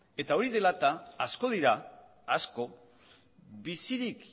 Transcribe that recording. eta hori dela eta asko dira bizirik